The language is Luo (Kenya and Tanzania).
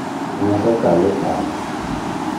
Ne nyaka kal e pala.